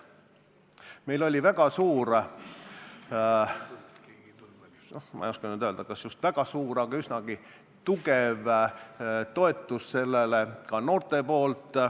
Meil oli sellele väga suur – ma ei oska nüüd öelda, kas just väga suur, aga üsnagi tugev – noorte toetus.